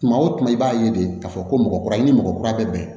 Tuma o tuma i b'a ye de k'a fɔ ko mɔgɔ kura i ni mɔgɔ kura bɛ bɛn